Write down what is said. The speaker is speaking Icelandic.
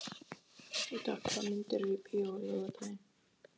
Heida, hvaða myndir eru í bíó á laugardaginn?